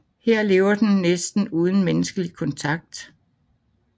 Her lever den næsten uden menneskelig kontakt